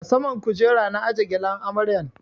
A saman kujera na aje gyalen amaryan